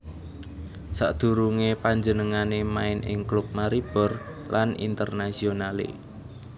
Sadurungé panjenengané main ing klub Maribor lan Internazionale